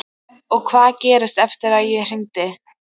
Og hvað gerðist eftir að ég hringdi?